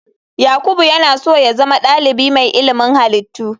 Yakubu yana so ya zama dalibi mai ilimin halittu.